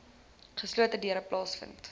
geslote deure plaasvind